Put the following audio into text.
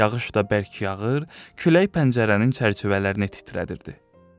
Yağış da bərk yağır, külək pəncərənin çərçivələrini titrədirdi.